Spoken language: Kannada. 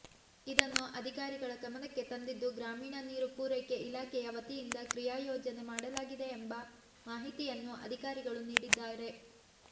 ಇದನ್ನು ಅಧಿಕಾರಿಗಳ ಗಮನಕ್ಕೆ ತಂದಿದ್ದು ಗ್ರಾಮೀಣ ನೀರು ಪೂರೈಕೆ ಇಲಾಖೆಯ ವತಿಯಿಂದ ಕ್ರಿಯಾಯೋಜನೆ ಮಾಡಲಾಗಿದೆ ಎಂಬ ಮಾಹಿತಿಯನ್ನು ಅಧಿಕಾರಿಗಳು ನೀಡಿದ್ದಾರೆ